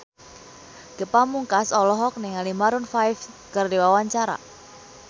Ge Pamungkas olohok ningali Maroon 5 keur diwawancara